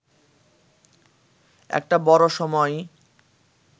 একটা বড়ো সময়ই